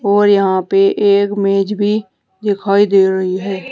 और यहाँ पे एक मेज़ भी दिखाई दे रही है।